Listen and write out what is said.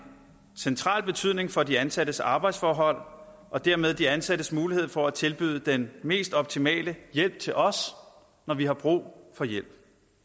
central betydning for de ansattes arbejdsforhold og dermed de ansattes mulighed for at tilbyde den mest optimale hjælp til os når vi har brug for hjælp